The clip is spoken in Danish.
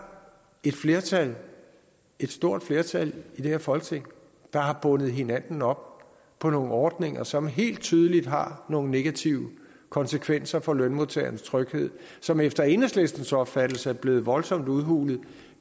et flertal et stort flertal i det her folketing der har bundet hinanden op på nogle ordninger som helt tydeligt har nogle negative konsekvenser for lønmodtagernes tryghed som efter enhedslistens opfattelse er blevet voldsomt udhulet